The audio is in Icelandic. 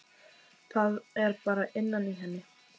Það er bara innan í henni.